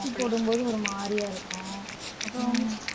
ஊசி போடும் போது ஒரு மாதிரியா இருக்கும் அப்புறம்